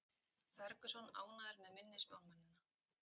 Ferguson ánægður með minni spámennina